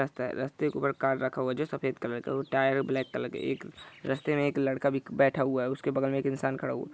रास्ता है रास्ते के ऊपर कार रखा हुआ है जो सफेद कलर के और टायर ब्लैक कलर एक रास्ते मे एक लड़का भी बैठा हुआ हैउसके बगल मे एक इन्सान खड़ा हु ---